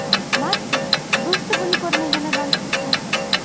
Martin do‘sti buni ko‘rmaganidan xursand bo‘ladi.